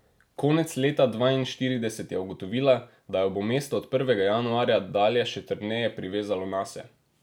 Konec leta dvainštirideset je ugotovila, da jo bo mesto od prvega januarja dalje še trdneje privezalo nase.